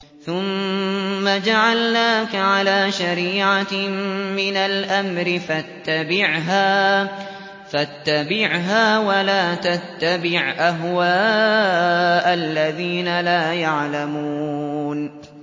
ثُمَّ جَعَلْنَاكَ عَلَىٰ شَرِيعَةٍ مِّنَ الْأَمْرِ فَاتَّبِعْهَا وَلَا تَتَّبِعْ أَهْوَاءَ الَّذِينَ لَا يَعْلَمُونَ